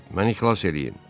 Məni ixlas eləyin.